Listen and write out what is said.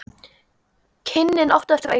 Kynnin áttu eftir að aukast.